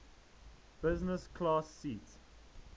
business class seat